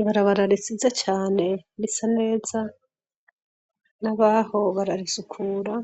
Ibarabara risize cane risa neza nabaho bararisukura